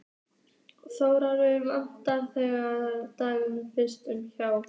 Þórgunnur vann þennan dag við fiskverkun hjá